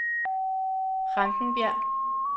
Rankenbjerg